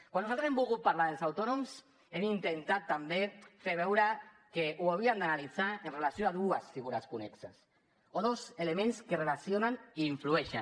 quan nosaltres hem volgut parlar dels autònoms hem intentat també fer veure que ho havíem d’analitzar amb relació a dues figures connexes o dos elements que es relacionen i hi influeixen